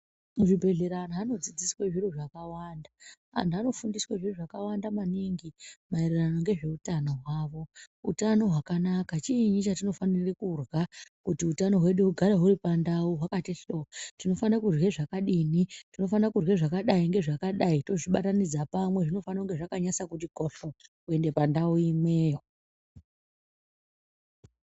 Muzvi antu anodzidziswa zviro zvakawanda. Antu anofundiswe zviro zvakawanda maningi mayererano nezveutano hwavo. Utano hwakanaka chiinyi chatinofanire kurya kuti utano hwedu hugare huri pandau hwakati hlo. Tinofanire kirya zvakadini? tinofanira kurya zvakadai tozvibatanidza pamwe zvinofana zvakanasa kuti kohlo kuenda pandau imweyo.